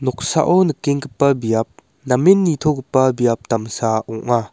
nikenggipa biap namen nitogipa biap damsa ong·a.